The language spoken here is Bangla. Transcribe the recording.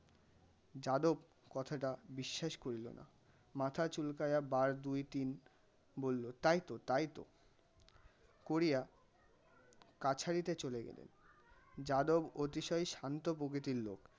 যাদব কথাটা বিশ্বাস করিল না. মাথা চুলকাইয়া বার দুই তিন বললো তাই তো তাই তো, করিয়া কাছারিতে চলে গেল. যাদব অতিশয় শান্ত প্রকৃতির লোক.